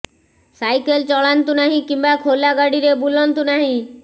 cycle ଚଳାନ୍ତୁ ନାହିଁ କିମ୍ବା ଖୋଲା ଗାଡ଼ିରେ ବୁଲନ୍ତୁ ନାହିଁ